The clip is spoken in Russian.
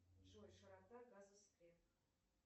джой широта